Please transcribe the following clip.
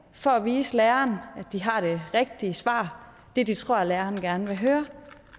for at vise læreren at de har det rigtige svar det de tror læreren gerne vil høre